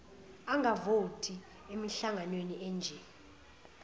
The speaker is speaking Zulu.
angavoti emihlanganweni enje